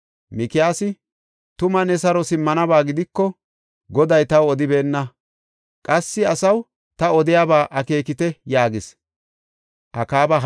Mikiyaasi, “Tuma, ne saro simmanaba gidiko, Goday taw odibeenna. Qassi, asaw, ta odiyaba akeekite” yaagis.